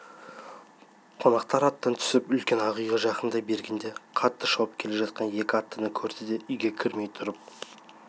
қонақтар аттан түсіп үлкен ақ үйге жақындай бергенде қатты шауып келе жатқан екі аттыны көрді де үйге кірмей тұрып